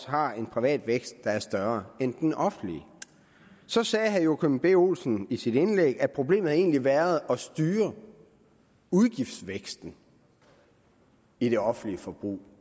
har en privat vækst der er større end den offentlige så sagde herre joachim b olsen i sit indlæg at problemet egentlig havde været at styre udgiftsvæksten i det offentlige forbrug